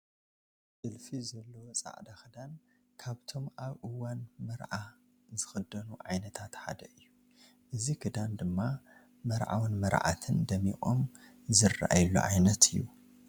ጥልፊ ዘለዎ ፃዕዳ ክዳን ካብቶም ኣብ እዋን መርዓ ዝኽደኑ ዓይነታት ሓደ እዩ፡፡ እዚ ክዳን ድማ መርዓውን መርዓትን ደሚቖም ዝርአዩሉ ዓይነት እዩ፡፡